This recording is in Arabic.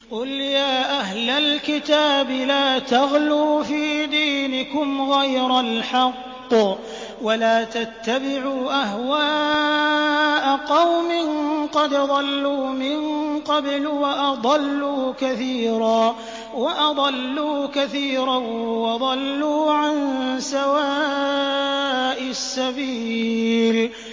قُلْ يَا أَهْلَ الْكِتَابِ لَا تَغْلُوا فِي دِينِكُمْ غَيْرَ الْحَقِّ وَلَا تَتَّبِعُوا أَهْوَاءَ قَوْمٍ قَدْ ضَلُّوا مِن قَبْلُ وَأَضَلُّوا كَثِيرًا وَضَلُّوا عَن سَوَاءِ السَّبِيلِ